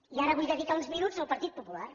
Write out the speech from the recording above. i ara vull dedicar uns minuts al partit popular